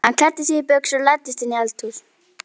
Hann klæddi sig í buxur og læddist inn í eldhúsið.